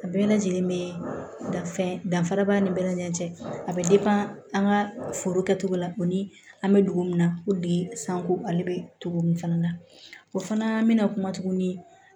A bɛɛ lajɛlen be dan fɛn danfara b'a ni bɛɛ lajɛ a be an ka foro kɛcogo la ko ni an be dugu min na ko bi sanko ale be togo min fana na o fana be na kuma tuguni